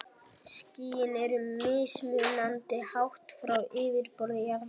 Skýin eru mismunandi hátt frá yfirborði jarðar.